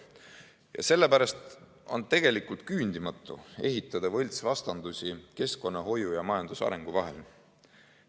Ja sellepärast on tegelikult küündimatu ehitada võltsvastandusi keskkonnahoiu ja majandusarengu vahel.